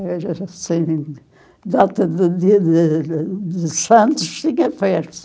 Era assim, data do dia de de de Santos, tinha